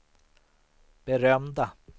berömda